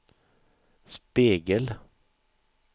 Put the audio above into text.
spegel